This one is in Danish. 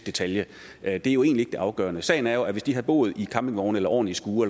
detalje det er jo egentlig det afgørende sagen er jo at hvis de havde boet i campingvogne eller ordentlige skure